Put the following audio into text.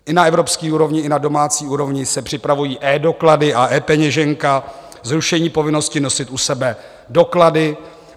I na evropské úrovni i na domácí úrovni se připravují eDoklady a ePeněženka, zrušení povinnosti nosit u sebe doklady.